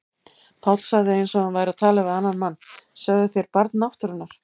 Páll sagði eins og hann væri að tala við annan mann: Sögðuð þér Barn náttúrunnar?